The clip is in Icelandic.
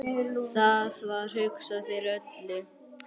Það var hugsað fyrir öllu.